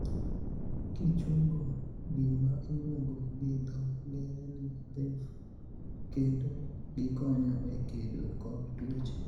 Kichungo gima iluongo gi dho ngere ni 'lymph' kendo gikonyo e kedo kod tuoche.